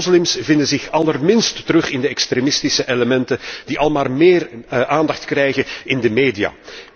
Vele moslims vinden zich allerminst terug in de extremistische elementen die almaar meer aandacht krijgen in de media.